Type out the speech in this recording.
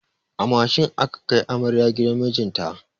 A mashin aka kai amaryar gidan mijinta.